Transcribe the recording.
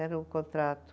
Era um contrato